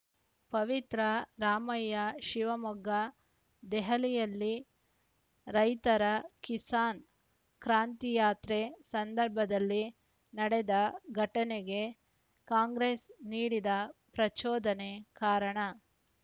ಪವಿತ್ರಾ ರಾಮಯ್ಯ ಶಿವಮೊಗ್ಗ ದೆಹಲಿಯಲ್ಲಿ ರೈತರ ಕಿಸಾನ್‌ ಕ್ರಾಂತಿಯಾತ್ರೆ ಸಂದರ್ಭದಲ್ಲಿ ನಡೆದ ಘಟನೆಗೆ ಕಾಂಗ್ರೆಸ್‌ ನೀಡಿದ ಪ್ರಚೋದನೆ ಕಾರಣ